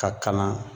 Ka kalan